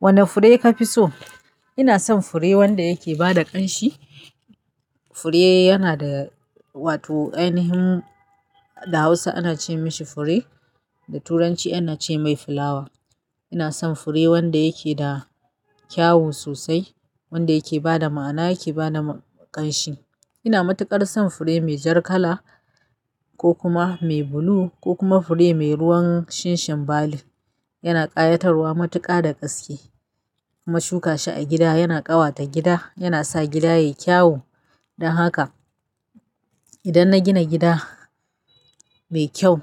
Wane fure ka fi so? Ina son fure wanda yake bada ƙanshi. Fure yana da wato ainihin da Hausa ana ce mashi fure, da turanci ana ce mai flower. Ina son fure wanda yake da kyawu sosai, wanda yake bada ma'ana, yake bada ƙanshi. Ina matuƙar son fure mai jar kala ko kuma mai blue ko kuma fure mai ruwan shinshin bali. Yana ƙayatarwa matuƙa da gaske. Kuma shuka shi a gida yana ƙawata gida, yana sa gida yayi kyawu. Dan haka idan na gina gida mai kyau